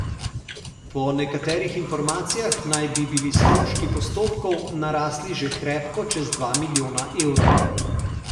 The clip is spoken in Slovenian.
Po nekaterih informacijah naj bi bili stroški postopkov narasli že krepko čez dva milijona evrov.